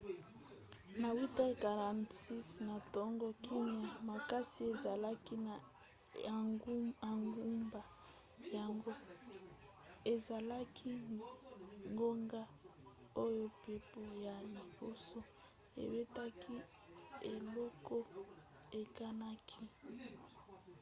na 8:46 na ntongo kimya makasi ezalaki na engumba yango ezalaki ngonga oyo mpepo ya liboso ebetaki eloko ekanaki